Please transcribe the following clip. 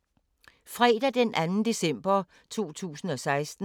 Fredag d. 2. december 2016